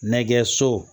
Nɛgɛso